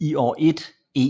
i år 1 e